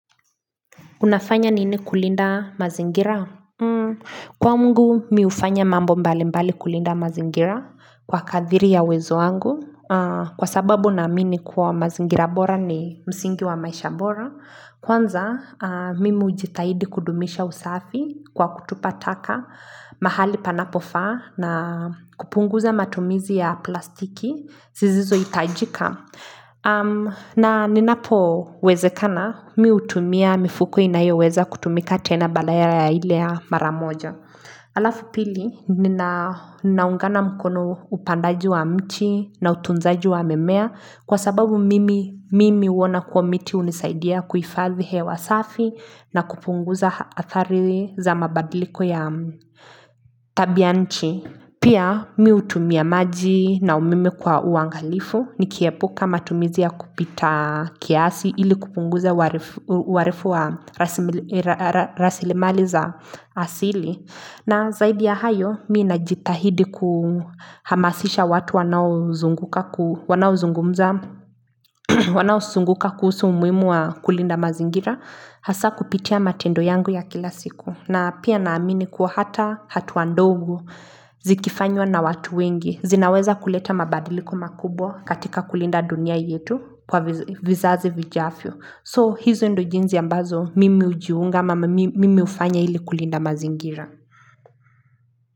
Unafanya nini kulinda mazingira? Kwangu mimi hufanya mambo mbali mbali kulinda mazingira kwa kadri ya uwezo wangu. Kwa sababu naamini kuwa mazingira bora ni msingi wa maisha bora. Kwanza mimi hujitahidi kudumisha usafi kwa kutupa taka mahali panapofaa na kupunguza matumizi ya plastiki. Zisizo hitajika. Na ninapo wezekana mimi hutumia mifuko inayo weza kutumika tena badala ya ile ya mara moja Alafu pili ninaungana mkono upandaji wa mti na utunzaji wa mimea Kwa sababu mimi mimi huona kuwa miti hunisaidia kuhifadhi hewa safi na kupunguza adhari za mabadiliko ya tabia ya nchi Pia mimi hutumia maji na umeme kwa uangalifu nikiepuka matumizi ya kupita kiasi ili kupunguza uharifu wa rasilimali za asili. Na zaidi ya hayo mimi najithahidi kuhamasisha watu wanaozunguka kuhusu umuhimu wa kulinda mazingira hasa kupitia matendo yangu ya kila siku. Na pia naamini kuwa hata hatua ndogo zikifanywa na watu wengi. Zinaweza kuleta mabadiliko makubwa katika kulinda dunia yetu kwa vizazi vijavyo. So, hizo ndo jinsi ambazo mimi hujiunga ama mimi hufanya ili kulinda mazingira.